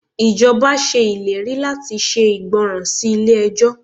Ìjọba ṣe ìlérí láti ṣe ìgbọràn sí ilé ẹjọ́.